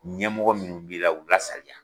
Ɲɛmɔgɔ minnu b'i la u lasaliya.